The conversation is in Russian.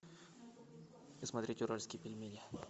смотреть уральские пельмени